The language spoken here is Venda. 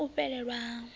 hu na u fhelelwa ha